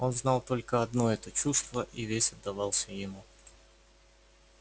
он знал только одно это чувство и весь отдавался ему